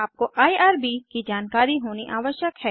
आपको आईआरबी की जानकारी होनी आवश्यक है